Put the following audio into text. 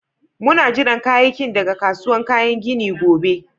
Muna jiran kayakin daga kasuwan kayan ginin gobe.